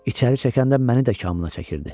İçəri çəkəndə məni də kamına çəkirdi.